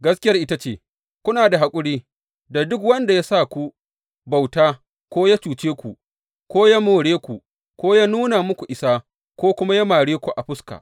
Gaskiyar ita ce, kuna haƙuri da duk wanda ya sa ku bauta ko ya cuce ku ko ya more ku ko ya nuna muku isa ko kuma ya mare ku a fuska.